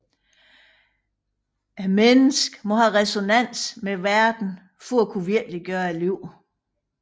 Mennesket må have resonans med verden for at kunne virkeliggøre livet